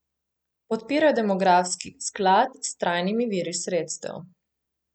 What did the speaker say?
Podpirajo demografski sklad s trajnimi viri sredstev.